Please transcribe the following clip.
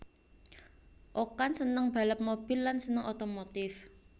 Okan seneng balap mobil lan seneng otomotif